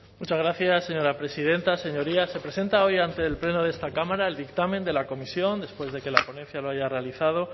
muchas gracias señora presidenta señorías se presenta hoy ante el pleno de esta cámara el dictamen de la comisión después de que la ponencia lo haya realizado